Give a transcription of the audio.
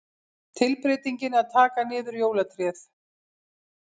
Tilbreytingin að taka niður jólatréð.